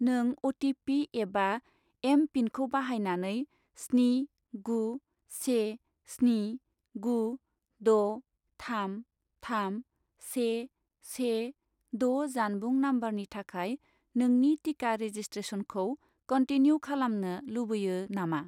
नों अ.टि.पि. एबा एम.पिन.खौ बाहायनानै स्नि गु से स्नि गु द' थाम थाम से से द' जानबुं नम्बरनि थाखाय नोंनि टिका रेजिसट्रेसनखौ कनटिनिउ खालामनो लुबैयो नामा?